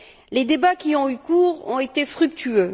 Les débats qui ont eu cours ont été fructueux.